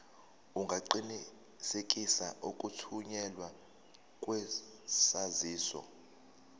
ungaqinisekisa ukuthunyelwa kwesaziso